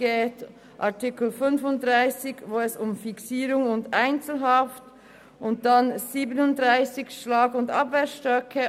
In Artikel 35 geht es um die Fixierung sowie Einzelhaft und in Artikel 37 um Schlag- und Abwehrstöcke.